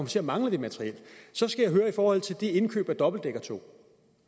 til at mangle det materiel så skal jeg høre i forhold til de indkøb af dobbeltdækkertog